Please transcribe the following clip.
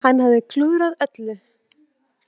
Hann hafði klúðrað öllu.